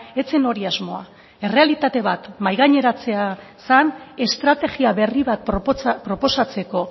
ez zen hori asmoa errealitate bat mahai gaineratzea zen estrategia berri bat proposatzeko